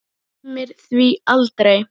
Gleymir því aldrei.